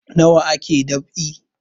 Nawa ake dab'i